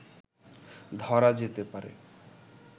ধরা যেতে পারে